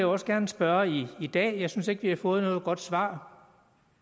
også gerne spørge i dag jeg synes ikke vi har fået noget godt svar